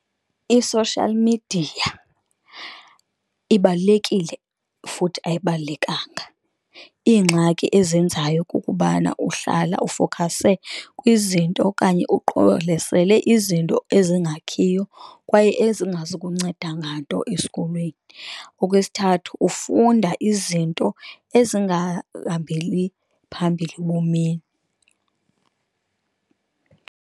I-social media ibalulekile futhi ayibalulekanga, iingxaki ezenzayo kukubana uhlala ufowukhase kwizinto okanye uqololesele izinto ezingakhiyo kwaye ezingazukunceda nganto esikolweni. Okwesithathu, ufunda izinto ezingahambeli phambili ebomini.